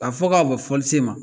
A fɔ k'a bɛn fɔlisen ma